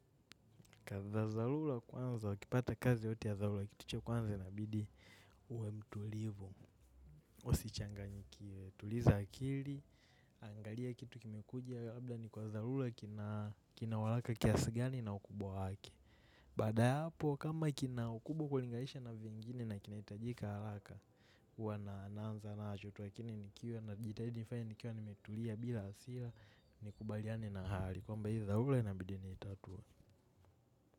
Kazi za dharura kwanza ukipata kazi yoyote ya dharura kitu cha kwanza inabidi uwe mtulivu. Usichanganyikiwe tuliza akili. Angalia kitu kimekuja labda ni kwa dharura kina haraka kiasi gani na ukubwa wake. Baada ya hapo kama kina kubwa ukilingaisha na vingine na kinahitajika haraka. Huwa naanza nacho tu lakini nikiwa najitahidi nifanye nikiwa nimetulia bila hasira. Nikubaliane na hali kwamba hii dharura inabidi niitatue.